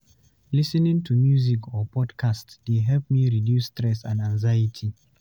Lis ten ing to music or podcasts dey help me reduce stress and anxiety.